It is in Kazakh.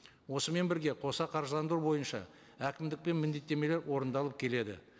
осымен бірге қоса қаржыландыру бойынша әкімдікпен міндеттемелер орындалып келеді